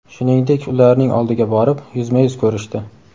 Shuningdek, ularning oldiga borib, yuzma-yuz ko‘rishdi.